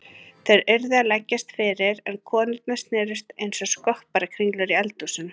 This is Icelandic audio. Þeir urðu að leggjast fyrir en konurnar snerust einsog skopparakringlur í eldhúsinu.